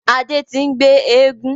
Adé tí n gbe éégún.